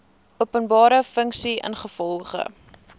openbare funksie ingevolge